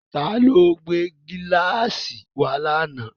Ta ló gbé gíláàsì wá lánàá?